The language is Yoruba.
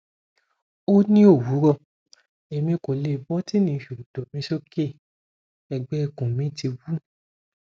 o ni owurọ emi ko le botini sokoto mi soke ẹgbẹikun mi ti wú